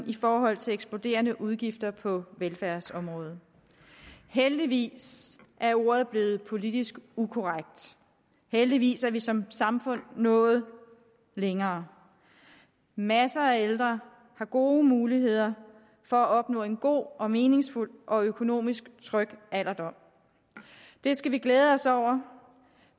i forhold til eksploderende udgifter på velfærdsområdet heldigvis er ordet blevet politisk ukorrekt heldigvis er vi som samfund nået længere masser af ældre har gode muligheder for at opnå en god og meningsfuld og økonomisk tryg alderdom det skal vi glæde os over